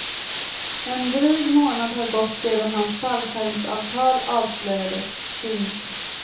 En dryg månad har gått sedan hans fallskärmsavtal avslöjades. punkt